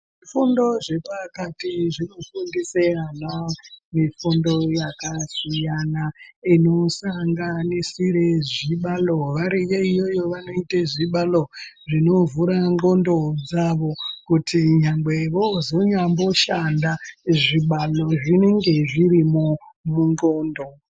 Fundo zvepakati xvinofundise ana mufundo yakasiyana inosanganisire zvibalo variyo iyoyo vanoite zvibalo zvinovhure ndxondo dzawo kuti nyangwe vozonyamboshanda zvibalo zvinenge zvirimwo mundxondo.